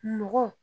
Nɔgɔ